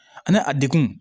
Ani a degun